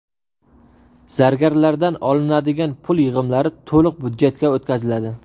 Zargarlardan olinadigan pul yig‘imlari to‘liq byudjetga o‘tkaziladi.